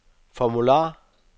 formular